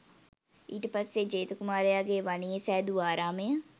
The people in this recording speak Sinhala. ඊට පස්සේ ජේත කුමාරයාගේ වනයේ සැදූ ආරාමය